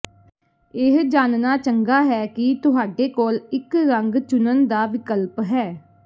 ਇਹ ਜਾਣਨਾ ਚੰਗਾ ਹੈ ਕਿ ਤੁਹਾਡੇ ਕੋਲ ਇੱਕ ਰੰਗ ਚੁਣਨ ਦਾ ਵਿਕਲਪ ਹੈ